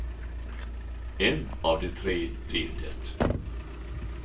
En av de tre blir det.